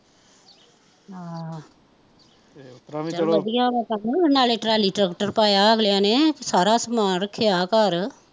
ਆਹ ਚੱਲ ਵਧੀਆ ਵਾਂ ਕੰਮ, ਨਾਲੇ ਟਰੈਲੀ ਟ੍ਰੈਕਟਰ ਪਾਇਆ ਵਾਂ ਅਗਲਿਆ ਨੇ, ਸਾਰਾ ਸਮਾਨ ਰੱਖਿਆ ਘਰ